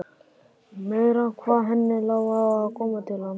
Meira hvað henni lá á að komast til hans!